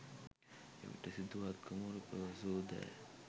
එවිට සිදුහත් කුමරු පැවසූ දෑ